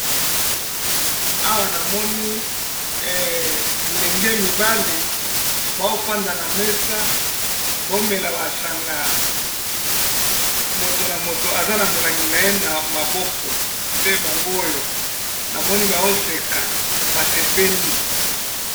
Awa namoni bilenge mibali bafandi na mesa bazomela masanga mutu na mutu aza na molangi naye na maboko namoni bazo seka basepeli.